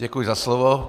Děkuji za slovo.